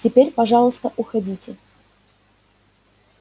теперь пожалуйста уходите